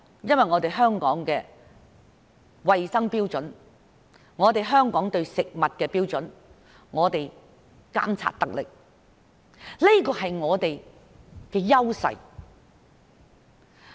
因為香港的衞生標準、對食物的標準監察得力，這是我們的優勢。